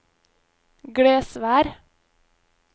Glesvær